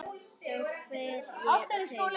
Þá fer ég á taugum.